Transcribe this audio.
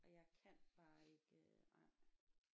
Og jeg kan bare ikke øh nej